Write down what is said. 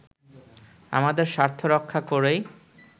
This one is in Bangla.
আমাদের স্বার্থ রক্ষা করেই